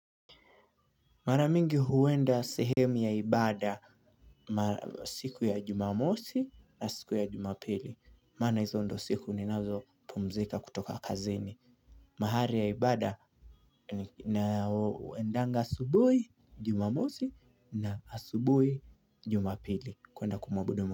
Mara mingi huenda sehemu ya ibada siku ya jumamosi na siku ya jumapili. Maana hizo ndo siku ninazo pumzika kutoka kazini. Mahari ya ibada na uendanga asubui jumamosi na asubui jumapili. Kuenda kumabudu.